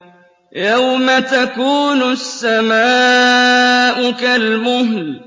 يَوْمَ تَكُونُ السَّمَاءُ كَالْمُهْلِ